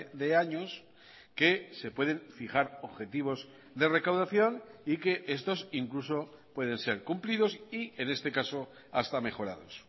de años que se pueden fijar objetivos de recaudación y que estos incluso pueden ser cumplidos y en este caso hasta mejorados